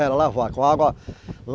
É, lavar com água.